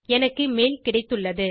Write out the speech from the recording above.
எனக்கு மெயில் கிடைத்துள்ளது